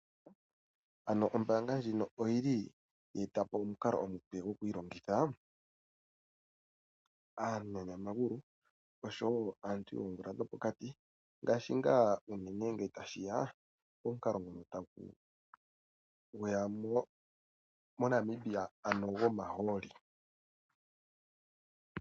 Ano ombaanga ndjino oyili ye eta po omukalo omupe gwokwiilongitha, aanyanyamagulu nosho wo aantu yoomvula dhopokati, ngaashi nga tashi ya komukalo ngono gweya moNamibia, ano gwomahooli.